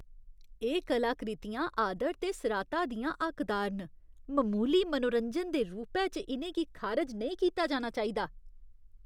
एह् कलाकृतियां आदर ते सराह्ता दियां हक्कदार न, ममूली मनोरंजन दे रूपै च इ'नें गी खारज नेईं कीता जाना चाहिदा।